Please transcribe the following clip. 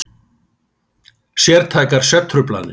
Sértækar svefntruflanir.